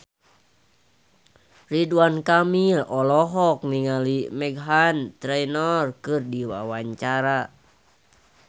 Ridwan Kamil olohok ningali Meghan Trainor keur diwawancara